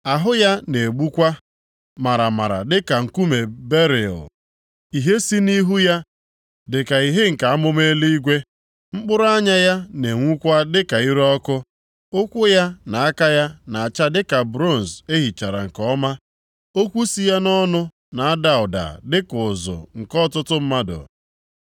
Ahụ ya na-egbukwa maramara dịka nkume beril, ìhè si nʼihu ya dị ka ìhè nke amụma eluigwe. Mkpụrụ anya ya na-enwukwa dịka ire ọkụ. Ụkwụ ya na aka ya na-acha dịka bronz e hichara nke ọma. Okwu si ya nʼọnụ na-ada ụda dịka ụzụ nke ọtụtụ mmadụ.